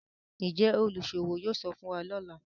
Njé oluṣowo yóò sọfún wá lọla?